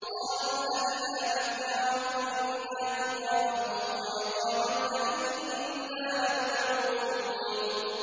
قَالُوا أَإِذَا مِتْنَا وَكُنَّا تُرَابًا وَعِظَامًا أَإِنَّا لَمَبْعُوثُونَ